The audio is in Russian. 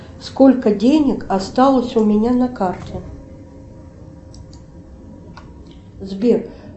сколько денег осталось у меня на карте сбер